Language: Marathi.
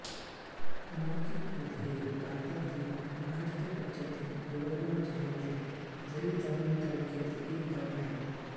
मारकी खुर्द हे भारतातील महाराष्ट्र राज्यातील यवतमाळ जिल्ह्यातील झरी जामणी तालुक्यातील एक गाव आहे